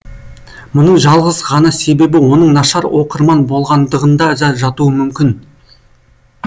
мұның жалғыз ғана себебі оның нашар оқырман болғандығында да жатуы мүмкін